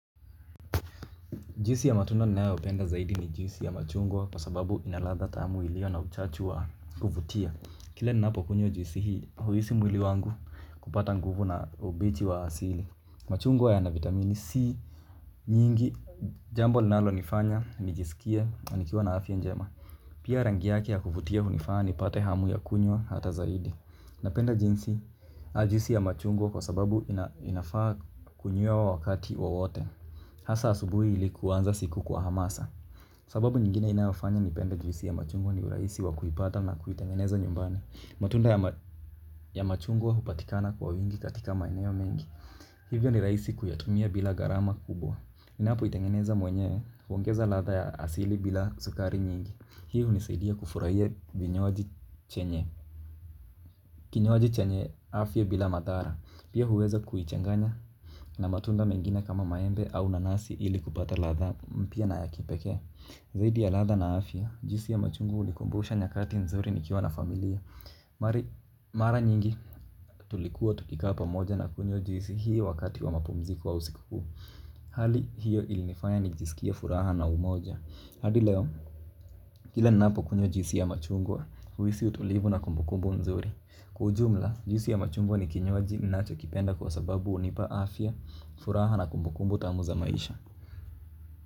Juisi ya matunda ninayopenda zaidi ni juisi ya machungwa kwa sababu ina ladha tamu iliyo na uchachu wa kuvutia. Kila ninapokunywa juisi hii huhisi mwili wangu kupata nguvu na ubiti wa asili. Machungwa yana vitamini C nyingi jambo linalo nifanya nijisikie nikiwa na afya njema. Pia rangi yake ya kuvutia hunifanya nipate hamu ya kunywa hata zaidi. Napenda jinsi juisi ya machungwa kwa sababu inafaa kunywewa wakati wowote. Hasa asubuhi ili kuanza siku kwa hamasa sababu nyingine inayofanya nipende juisi ya machungwa ni urahisi wa kuipata na kuitengeneza nyumbani. Matunda ya machungwa hupatikana kwa wingi katika maeneo mengi hivyo ni rahisi kuyatumia bila gharamakubwa. Ninapo itengeneza mwenyewe huongeza ladha ya asili bila sukari nyingi. Hii hunisaidia kufurahia kinywaji chenye afya bila madhara pia huweza kuichanganya na matunda mengine kama maembe au nanasi ili kupata ladha mpya na ya kipekee. Zaidi ya ladha na afya juisi ya machungwa hunikumbusha nyakati nzuri nikiwa na familia. Mara nyingi tulikuwa tukikaa pamoja na kunywa juisi hio wakati wa mapumziko au sikukuu. Hali hiyo ilinifanya nijisikie furaha na umoja hadi leo kila ninapo kunywa juisi ya machungwa huhisi utulivu na kumbukumbu nzuri. Kwa ujumla juisi ya machungwa ni kinywaji ninachokipenda kwa sababu hunipa afya furaha na kumbukumbu tamu za maisha.